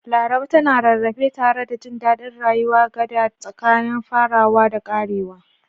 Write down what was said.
Laraba tana rarrafe tare da jin daɗin rayuwa, gada tsakanin farawa da ƙarewa.